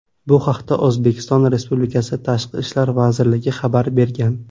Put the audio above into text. Bu haqda O‘zbekiston Respublikasi Tashqi ishlar vazirligi xabar bergan .